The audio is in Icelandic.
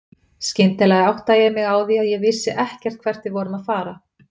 Skyndilega áttaði ég mig á því að ég vissi ekkert hvert við vorum að fara.